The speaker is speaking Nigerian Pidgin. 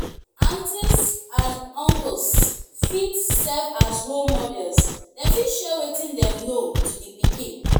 aunties and auncles fit serve as role models dem fit share wetin dem know to the pikin